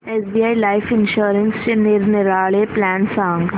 SBI life इन्शुरन्सचे निरनिराळे plan सांग